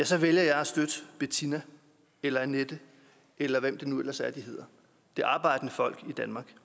så vælger jeg at støtte bettina eller annette eller hvad det nu ellers er de hedder det arbejdende folk i danmark